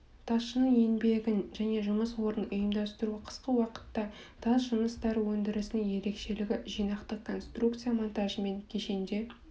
тасшының еңбегін және жұмыс орнын ұйымдастыру қысқы уақытта тас жұмыстары өндірісінің ерекшелігі жинақтық конструкция монтажымен кешенде